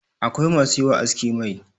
akwai masu yi wa aski Mai